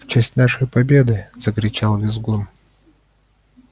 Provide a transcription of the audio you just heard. в честь нашей победы закричал визгун